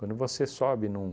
Quando você sobe num